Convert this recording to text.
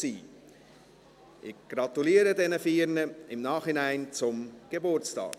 Ich gratuliere diesen vier im Nachhinein zum Geburtstag.